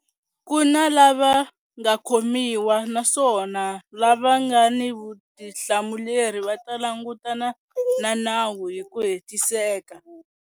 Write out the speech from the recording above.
Ku na lava nga khomiwa naswona lava nga ni vutihlamuleri va ta langutana na nawu hi ku hetiseka.